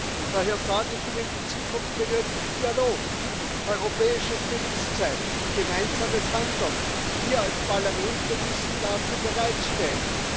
Und daher sage ich Ihnen Die Zukunft benötigt Dialog, europäisches Bewusstsein, gemeinsames Handeln. Wir als Parlamente müssen dafür bereitstehen.